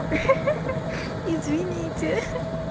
хи-хи извините